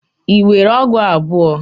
Ị nwere ọgụ abụọ?